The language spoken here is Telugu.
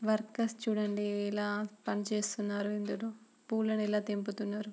వర్కువెర్స్ చుడండి ఎలా పని చేస్తున్నారు ఇందులో పూలని ఎలా తెంపుతున్నారో --